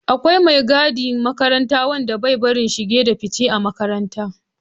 Akwai mai gadin makaranta wanda bai bari shige da fice a makaranta